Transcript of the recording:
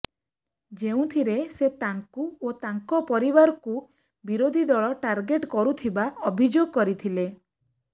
ଯେଉଁଥିରେ ସେ ତାଙ୍କୁ ଓ ତାଙ୍କ ପରିବାରକୁ ବିରୋଧୀ ଦଳ ଟାର୍ଗେଟ କରୁଥିବା ଅଭିଯୋଗ କରିଥିଲେ